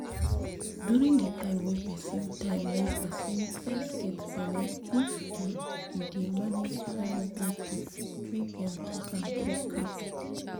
to deal with this sickness wey dem dey call anemia persin suppose report the matter qik qik as the as the sign don dey show